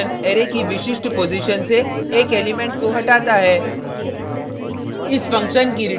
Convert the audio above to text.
splice function array की विशिष्ट position से एक एलिमेंट को हटाता है